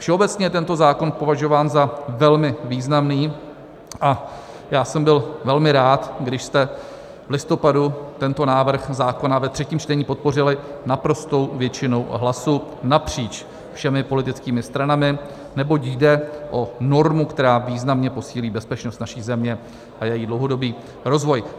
Všeobecně je tento zákon považován za velmi významný a já jsem byl velmi rád, když jste v listopadu tento návrh zákona ve třetím čtení podpořili naprostou většinou hlasů napříč všemi politickými stranami, neboť jde o normu, která významně posílí bezpečnost naší země a její dlouhodobý rozvoj.